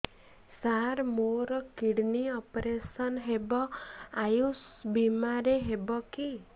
ସାର ମୋର kidney operation Ayush ଆୟୁଷ ବିମାରେ ହେବ କି